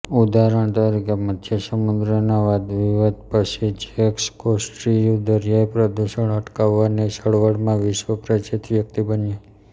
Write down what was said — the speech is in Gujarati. ઉદાહરણ તરીકે મધ્ય સમુદ્રના વાદવિવાદ પછીજેક્સ કૌસ્ટીયુ દરિયાઇ પ્રદૂષણ અટકાવવાની ચળવળમાં વિશ્વપ્રસિદ્ધ વ્યક્તિ બન્યો